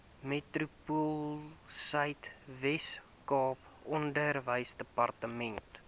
metropoolsuid weskaap onderwysdepartement